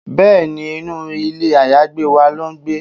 Bẹ́ẹ̀ni, inú ilé àyágbé wa ló ń gbé